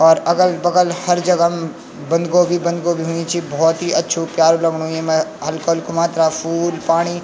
और अगल बगल हर जगम् बंद गोभी बंद गोभी हुईं च भौत ही अच्छु प्यारु लगणु येमा हल्क हल्कू मात्रा फूल पाणी।